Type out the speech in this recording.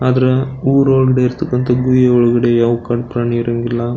ಆದರ ಉರ್ ಒಳಗಡೆ ಇರ್ತಕ್ಕಂತಹ ಗುಹೆ ಒಳಗಡೆ ಯಾವು ಕಾಡ್ ಪ್ರಾಣಿ ಇರಂಗಿಲ್ಲ .